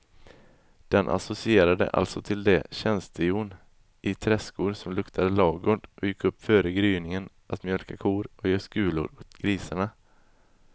Den associerade alltså till det tjänstehjon i träskor som luktade lagård och gick upp före gryningen att mjölka kor och ge skulor åt grisarna.